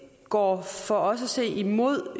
går for os at se imod